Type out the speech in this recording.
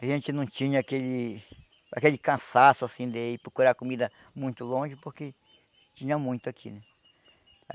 A gente não tinha aquele aquele cansaço assim de ir procurar comida muito longe, porque tinha muito aqui.